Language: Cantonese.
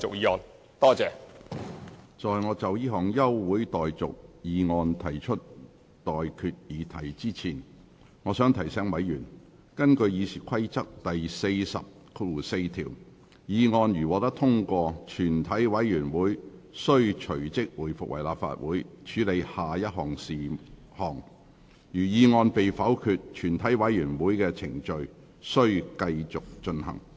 在我就這項全體委員會休會待續議案提出待決議題之前，我想提醒委員，根據《議事規則》第404條，議案如獲通過，全體委員會即須回復為立法會，隨而處理下一事項；議案如被否決，全體委員會的程序即須繼續進行。